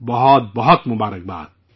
بہت بہت شکریہ